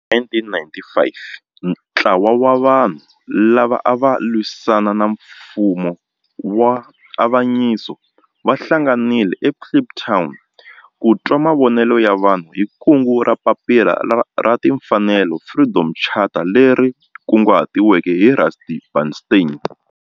Hi 1955 ntlawa wa vanhu lava ava lwisana na nfumo wa avanyiso va hlanganile eKliptown ku twa mavonelo ya vanhu hi kungu ra Papila ra Timfanelo Freedom Charter leri kunguhatiweke hi Rusty Bernstein.